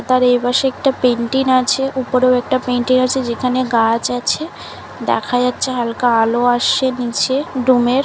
তার এই পাশে একটা পেন্টিং আছে উপরের একটা পেইন্ট আছে যেখানে গাছ আছে দেখা যাচ্ছে হালকা আলো আসে নিচে রুম এর।